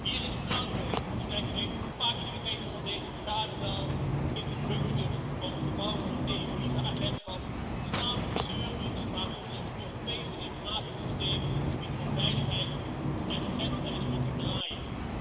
Hier in Straatsburg op slechts een paar kilometer van deze vergaderzaal in de bunker van het gebouw van het eu LISA agentschap staan de servers waar onze Europese informatiesystemen op het gebied van veiligheid en grensbeheer op draaien.